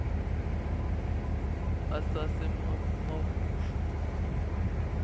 asasemahushu